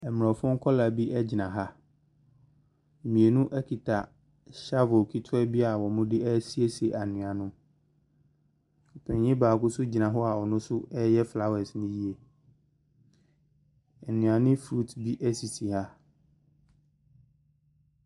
Mmorɔfo nkwadaa bi gyina ha. Mmienu kita shovel ketewa bi a wɔde resiesie anwea no mu. Panin baako nso gyina hɔ a ɔno nso reyɛ flowre no yie. Nnuane fruits bi sisi ha.